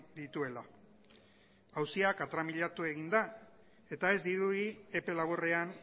dituela auzia katramilatu egin da eta ez dirudi epe laburrean